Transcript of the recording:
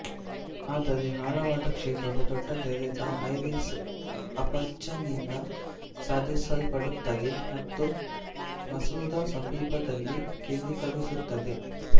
ಆದರೆ ಆಳವಾದ ಕ್ಷೇತ್ರವು ದೊಡ್ಡ ತೆರೆದ ಐರಿಸ್ ಅಪರ್ಚರ್ನಿಂದ ಸಾಧಿಸಲ್ಪಡುತ್ತದೆ ಮತ್ತು ಮಸೂರ ಸಮೀಪದಲ್ಲಿ ಕೇಂದ್ರೀಕರಿಸುತ್ತದೆ